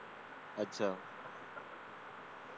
अच्छा